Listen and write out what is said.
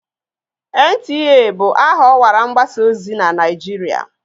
NTA bụ aha ọwara mgbasa ozi na Naịjirịa.